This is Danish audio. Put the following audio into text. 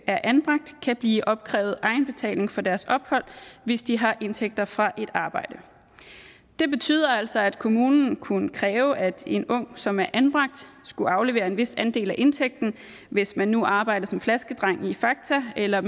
er anbragt kan blive opkrævet egenbetaling for deres ophold hvis de har indtægter fra et arbejde det betød altså at kommunen kunne kræve at en ung som er anbragt skulle aflevere en vis andel af indtægten hvis man nu arbejdede som flaskedreng i fakta eller